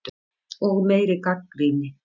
Og meiri gagnrýni.